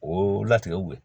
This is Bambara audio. O latigɛw